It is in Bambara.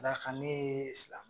A la kan ne ye silamɛ.